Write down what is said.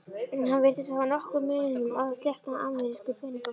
Hann virtist hafa nokkra unun af að sletta amerísku peningamáli.